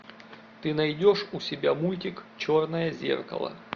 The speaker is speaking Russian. ты найдешь у себя мультик черное зеркало